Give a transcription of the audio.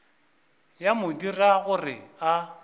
ya mo dira gore a